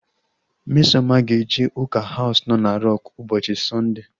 Mmesoma he-eje ụka Haus nọ na Rọk ụbọchị Sọndea